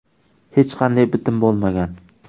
Hech qanday bitim bo‘lmagan.